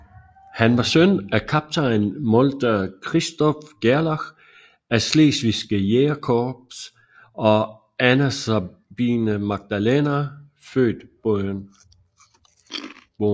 Han var søn af kaptajn Molter Christoph Gerlach af Slesvigske Jægerkorps og Anna Sabine Magdalena født Boehn